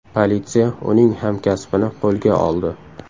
Politsiya uning hamkasbini qo‘lga oldi.